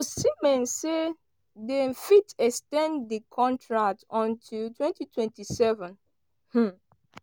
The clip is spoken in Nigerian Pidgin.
osimhen say dem fit ex ten d di contract until 2027. um